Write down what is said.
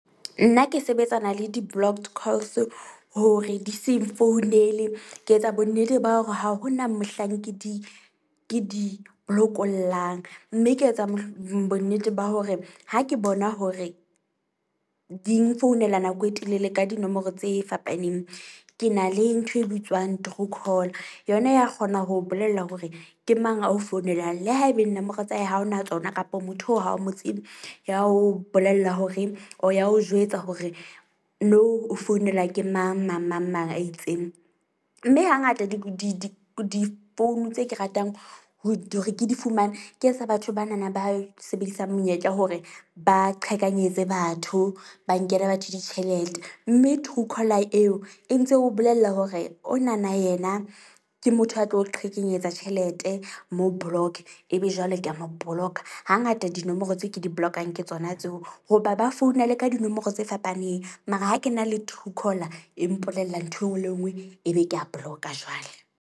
Nna ke sebetsana le di-blocked calls hore di se nfounele. Ke etsa bonnete ba hore ha hona mohlang ke di ke di blokollang. Mme ke etsa bonnete ba hore ha ke bona hore, di nfounela nako e telele ka dinomoro tse fapaneng. Ke na le ntho e bitswang true call, yona ya kgona ho bolella hore ke mang ao founelang. Le haebeng nomoro tsa hae ha o na tsona kapo motho o ha o mo tsebe ya ho bolella hore or ya o jwetsa hore nou o founelwa ke mang, mang, mang mang a itseng. Mme ha ngata di di di di-phone tse ke ratang ho hore ke di fumane ke tsa batho bana na ba sebedisang monyetla hore ba qhekanyetse batho. Ba nkela batho ditjhelete, mme Truecaller eo e ntse o bolella hore o na na yena ke motho a tlo o qhekanyetsa tjhelete mo block-e ebe jwale ke a mo boloka. Ha ngata dinomoro tseo ke di-block-ang, ke tsona tseo hoba ba founa le ka dinomoro tse fapaneng. Mara ha ke na le Truecaller e mpolella nthwe nngwe le nngwe, ebe ke a block-a jwale.